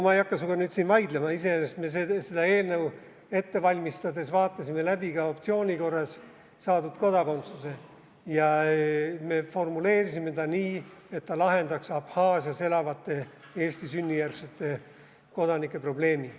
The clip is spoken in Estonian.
Ma ei hakka sinuga siin vaidlema, iseenesest me seda eelnõu ette valmistades vaatasime läbi ka optsiooni korras saadud kodakondsuse ja me formuleerisime selle nii, et see lahendaks Abhaasias elavate Eesti sünnijärgsete kodanike probleemi.